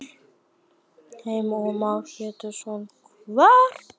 Heimir Már Pétursson: Hvar?